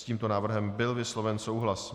S tímto návrhem byl vysloven souhlas.